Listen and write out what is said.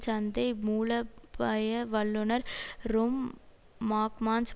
சந்தை மூலோபாய வல்லுநர் ரொம் மாக்மானஸ்